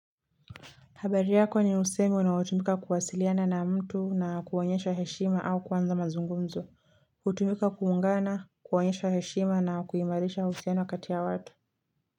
Habariyako ni usemi unautumika kuwasiliana na mtu na kuonyesha heshima au kwanza mazungumzo. Utumika kuungana, kuonyesha heshima na kuimarisha uhusiano kati ya watu.